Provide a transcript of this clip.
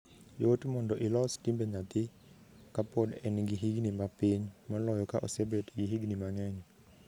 Yot mondo ilos timbe nyathi ka pod en gi higni mapiny moloyo ka osebet gi higni mangeny.